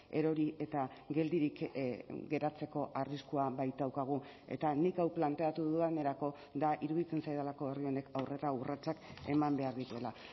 erori eta geldirik geratzeko arriskua baitaukagu eta nik hau planteatu dudanerako da iruditzen zaidalako herri honek aurrera urratsak eman behar dituela